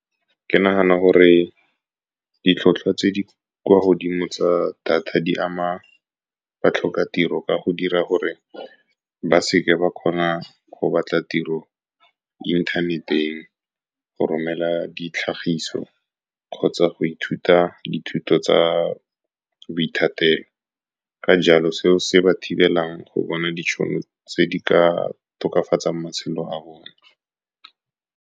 Ke nagana gore ditlhotlhwa tse di kwa godimo tsa data di ama batlhokatiro ka go dira gore ba seke ba kgona go batla tiro mo inthaneteng, go romela ditlhagiso, kgotsa go ithuta dithuto tsa boithatelo. Ka jalo, seo se ba thibela go bona ditšhono tse di ka tokafatsang matshelo a bone.